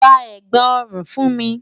Rá ègbá-orún fún mi